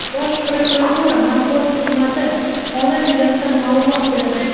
Bosh prokuratura Matbuot xizmati holat yuzasidan ma’lumot berdi.